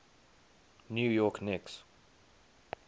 new york knicks